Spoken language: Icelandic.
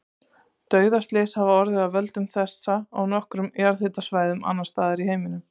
Dauðaslys hafa orðið af völdum þessa á nokkrum jarðhitasvæðum annars staðar í heiminum.